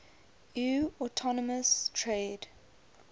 eu autonomous trade